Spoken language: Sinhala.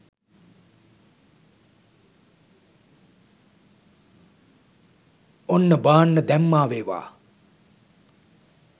ඔන්න බාන්න දැම්මා වේවා